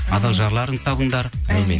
адал жарларыңды табыңдар әумин